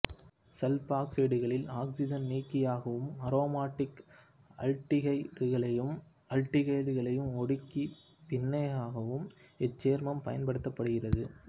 சல்பாக்சைடுகளில் oxygen நீக்கியாகவும் aromatic ஆல்டிகைடுகளையும் ஆல்டிகைடுகளயும் ஒடுக்கிப் பிணைக்கவும் இச்சேர்மம் பயன்படுத்தப்படுகிறது